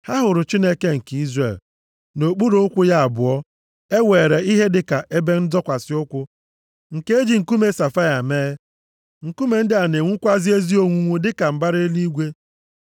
Ha hụrụ Chineke nke Izrel. Nʼokpuru ụkwụ ya abụọ, e were ihe dịka ebe nzọkwasị ụkwụ nke e ji nkume safaia mee. Nkume ndị a na-enwukwa ezi onwunwu dịka mbara eluigwe.